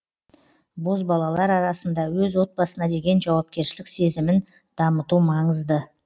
бозбалалар арасында өз отбасына деген жауапкершілік сезімін дамыту маңызды